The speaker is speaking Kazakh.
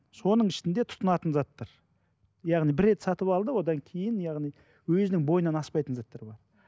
соның ішінде тұтынатын заттар яғни бір рет сатып алды одан кейін яғни өзінің бойынан аспайтын заттар бар